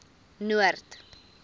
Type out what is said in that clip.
noord